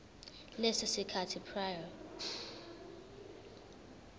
leso sikhathi prior